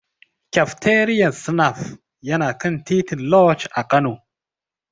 Kafteriyar Snaf yana kan titin Lodge a Kano.